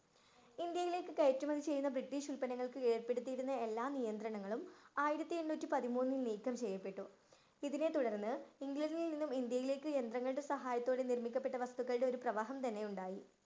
ഇന്ത്യയിലേക്ക്‌ കയറ്റുമതി ചെയ്യുന്ന ബ്രിട്ടീഷ് ഉല്പന്നങ്ങള്‍ക്ക് ഏര്‍പ്പെടുത്തിയിരുന്ന എല്ലാ നിയന്ത്രണങ്ങളും ആയിരത്തി എണ്ണൂറ്റി പതിമൂന്നില്‍ നീക്കം ചെയ്യപ്പെട്ടു. ഇതിനെ തുടര്‍ന്നു ഇംഗ്ലണ്ടില്‍ നിന്നും ഇന്ത്യയിലേക്ക്‌ യന്ത്രങ്ങളുടെ സഹായത്തോടെ നിര്‍മ്മിക്കപ്പെട്ട വസ്തുക്കളുടെ ഒരു പ്രവാഹം തന്നെയുണ്ടായി.